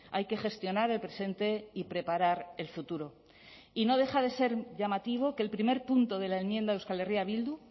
hay que gestionar el presente y preparar el futuro y no deja de ser llamativo que el primer punto de la enmienda euskal herria bildu